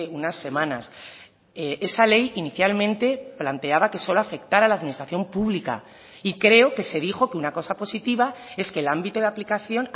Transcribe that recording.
unas semanas esa ley inicialmente planteaba que solo afectará a la administración pública y creo que se dijo que una cosa positiva es que el ámbito de aplicación